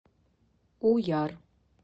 уяр